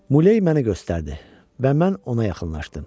Muley məni göstərdi və mən ona yaxınlaşdım.